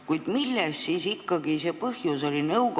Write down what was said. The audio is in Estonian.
Kuid milles siis ikkagi see põhjus oli?